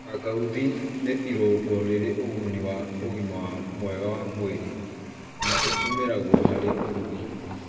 Kangauthi nĩ irũngo rĩrĩ ũguni wa ũgima mwega wa mwĩrĩ na ĩtũmĩragwo harĩ ũrugi.